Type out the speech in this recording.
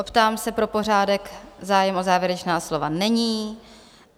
Optám se pro pořádek - zájem o závěrečná slova není.